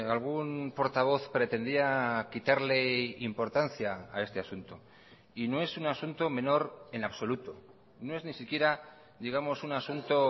algún portavoz pretendía quitarle importancia a este asunto y no es un asunto menor en absoluto no es ni siquiera digamos un asunto